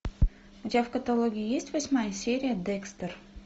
у тебя в каталоге есть восьмая серия декстер